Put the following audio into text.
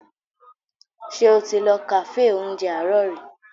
Ṣé o ti lọ kàféè oúnjẹ àárọ̀ rí?